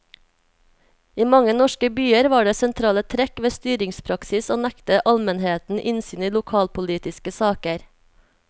I mange norske byer var det sentrale trekk ved styringspraksis å nekte almenheten innsyn i lokalpolitiske saker.